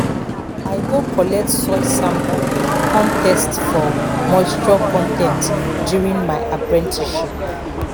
i go collect soil samples kan test for moisture con ten t during my apprenticeship